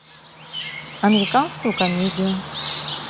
американскую комедию